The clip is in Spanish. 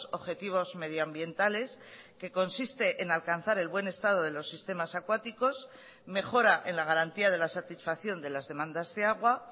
objetivos medioambientales que consiste en alcanzar el buen estado de los sistemas acuáticos mejora en la garantía de la satisfacción de las demandas de agua